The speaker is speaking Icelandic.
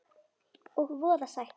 Og voða sætt.